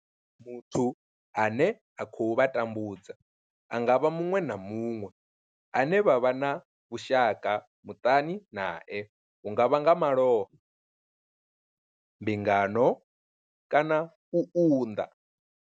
Muthu ane a khou vha tambudza a nga vha muṅwe na muṅwe ane vha vha na vhushaka muṱani nae hu nga vha nga malofha, mbingano kana u unḓa.